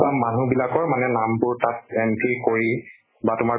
মানুহ বিলাকৰ মানে নামবোৰ তাত entry কৰি বা তোমাৰ